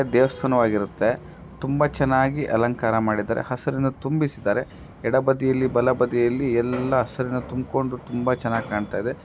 ದೇವಸ್ಥಾನವಾಗಿರುತ್ತೆ. ತುಂಬಾ ಚೆನ್ನಾಗಿ ಅಲಂಕಾರ ಮಾಡಿದರೆ. ಹಸರಿನ ತುಂಬಿಸಿದರೆ. ಎಡಬದಿಯಲ್ಲಿ ಬಲಬದಿಯಲ್ಲಿ ಎಲ್ಲ ಹಸಿರಿನ ತುಂಬಕೊಂಡ ತುಂಬಾ ಚೆನ್ನಾಗಿ ಕಾಣುತ್ತದೆ.